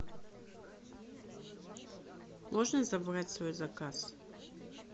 можно забрать свой заказ